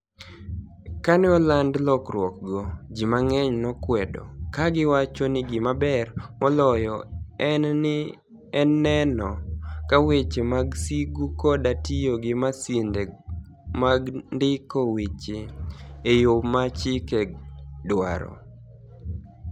Kani e olanid lokruokgo, ji manig'eniy nokwedo, ka giwacho nii gimaber moloyo eni ni eno ka weche mag sigu koda tiyo gi masinide mag nidiko weche e yo ma chikego dwaro.